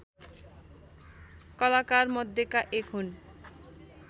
कलाकारमध्येका एक हुन्